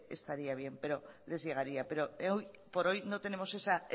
estaría bien pero les llegaría pero por hoy no tenemos esa